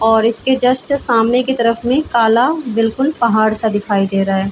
और इसके जस्ट सामने की तरफ में काला बिल्कुल पहाड़ सा दिखाई दे रहा है ।